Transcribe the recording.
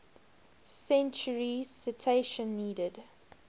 century citation needed